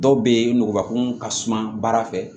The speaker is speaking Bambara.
Dɔw bɛ yen nugubakun ka suma baara fɛ